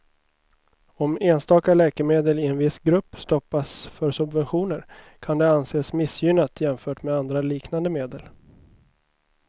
Om enstaka läkemedel i en viss grupp stoppas för subventioner kan det anses missgynnat jämfört med andra liknande medel.